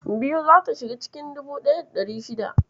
biyu zata shiga cikin 1600.